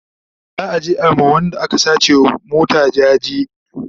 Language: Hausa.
za'a je a ma Wanda aka sace wa mota jaje